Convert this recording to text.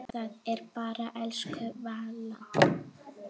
Það er bara elsku Vala.